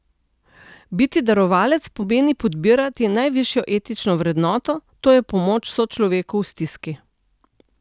Biti darovalec pomeni podpirati najvišjo etično vrednoto, to je pomoč sočloveku v stiski.